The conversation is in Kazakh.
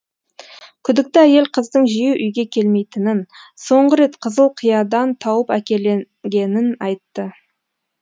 күдікті әйел қыздың жиі үйге келмейтінін соңғы рет қызыл киядан тауып әкелінгенін айтты